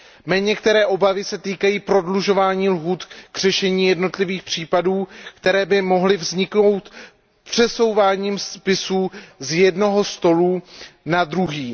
Mé některé obavy se týkají prodlužování lhůt k řešení jednotlivých případů, které by mohly vzniknout přesouváním spisů z jednoho stolu na druhý.